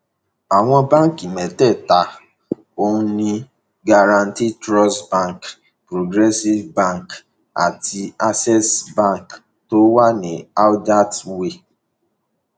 àwọn báǹkì mẹtẹẹta ọhún ni guaranty trust bank progressive bank àti access bank tó wà ní adcty way